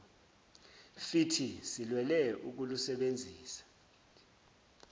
fithi silwele ukulusebenzisa